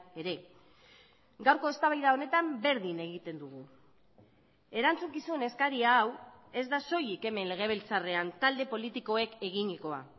ere gaurko eztabaida honetan berdin egiten dugu erantzukizun eskari hau ez da soilik hemen legebiltzarrean talde politikoek eginikoa